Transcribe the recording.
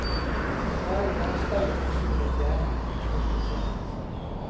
Det er jo bare stein og sol og et gjerde, ikke noe spesielt.